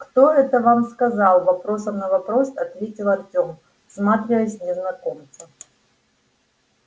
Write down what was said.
кто это вам сказал вопросом на вопрос ответил артем всматриваясь в незнакомца